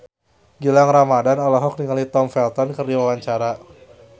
Gilang Ramadan olohok ningali Tom Felton keur diwawancara